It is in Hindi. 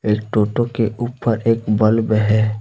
एक टोटो के ऊपर एक बल्ब है।